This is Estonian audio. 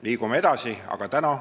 Liigume edasi!